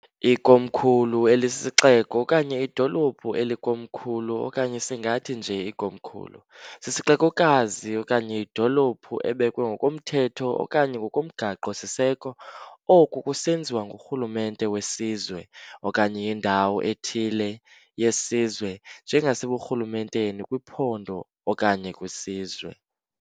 IKomkhulu elisisixeko, okanye idolophu elikomkhulu okanye singathi nje ikomkhulu, sisixekokazi okanye yidolophu, ebekwe ngokomthetho okanye ngokomgaqo siseko, oko kusenziwa ngurhulumente wesizwe, okanye yindawo ethile yesizwe, njengaseburhulumenteni, kwiphondo okanye kwisizwe.